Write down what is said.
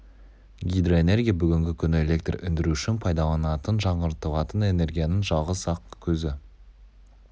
гидроэнергия-бүгінгі күні электр өндіру үшін пайдаланылатын жаңғыртылатын энергияның жалғыз-ақ көзі